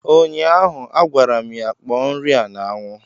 ụnyaahụ, a gwara m ya kpọọ nri a n' ánwụ!